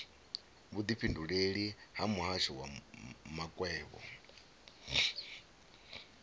vhudifhinduleleli ha muhasho wa makwevho